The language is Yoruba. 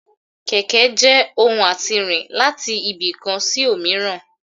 kẹkẹ je ohún atí rín latí ibi kán sí omìràn